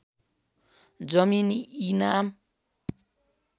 जमीन इनाम